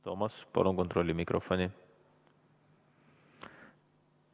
Toomas, palun kontrolli mikrofoni!